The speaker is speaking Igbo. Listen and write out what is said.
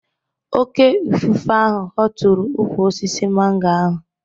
Oké ifufe ahụ hootụrụ ukwu osisi mango ahụ